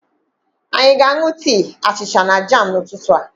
Anyị aga aṅụ tii, achịcha na jam n'ụtụtụ a?